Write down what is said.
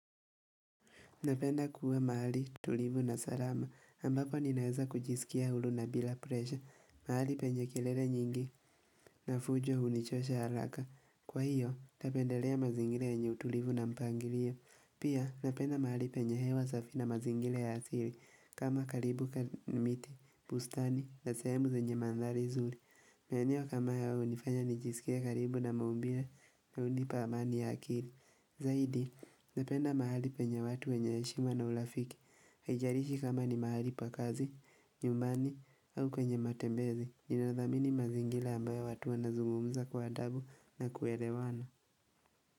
Napenda kuwa mahali tulivu na salama, ambako ninaweza kujisikia huru na bila presha, mahali penye kelele nyingi na fujo hunichosha haraka. Kwa hiyo, napendelea mazingira yenye utulivu na mpangilio. Pia, napenda mahali penye hewa safi na mazingira ya asili, kama karibu na miti, bustani, na sehemu zenye mandhari nzuri. Maeneo kama ya hunifanya nijisikie karibu na maumbile na hunipa amani ya akili. Zaidi, napenda mahali penye watu wenye heshima na urafiki. Haijalishi kama ni mahali pa kazi, nyumbani au kwenye matembezi. Ninadhamini mazingira ambayo watu wanazungumza kwa adabu na kuelewana.